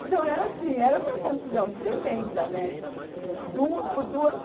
Então, era assim, era uma confusão tremenda, né? Du, por dua